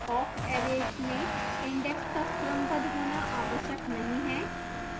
awk arrays में index का क्रमबद्ध होना आवश्यक नहीं है